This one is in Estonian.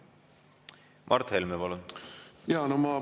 Mart Helme, palun!